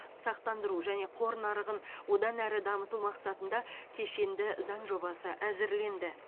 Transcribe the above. сақтандыру және қор нарығын одан әрі дамыту мақсатында кешенді заң жобасы әзірленді